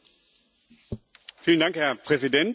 Herr Präsident, liebe Kolleginnen und Kollegen!